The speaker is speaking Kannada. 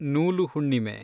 ನೂಲು ಹುಣ್ಣಿಮೆ